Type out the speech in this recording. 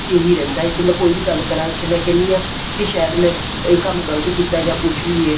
ਇਹੀ ਰਹਿੰਦਾ ਹੈ ਵੀ ਮੈਂ ਕੋਈ ਵੀ ਗੱਲ ਕਰਾ ਮੈਂ ਕਹਿਣੀ ਹਾਂ ਕੀ ਸ਼ਾਇਦ ਮੈਂ ਇਹ ਕੰਮ ਗਲਤ ਕੀਤਾ ਜਾਂ ਕੁੱਝ ਵੀ ਏ